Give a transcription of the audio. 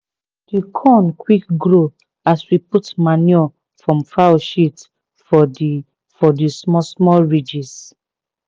di corn quick grow as we put manure from fowl shit for the for the small small ridges.